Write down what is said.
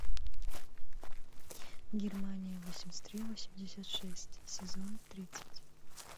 германия восемьдесят три восемьдесят шесть сезон тридцать